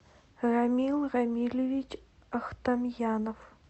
рамил рамилевич ахтамьянов